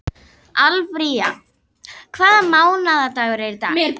Alfífa, hvaða mánaðardagur er í dag?